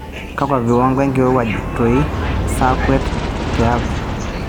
kaakwa viwango enkirowuaj too saai akwa te apt